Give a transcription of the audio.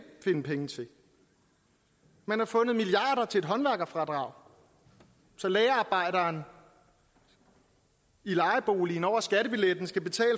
finde penge til man har fundet milliarder til et håndværkerfradrag så lagerarbejderen i lejeboligen over skattebilletten skal betale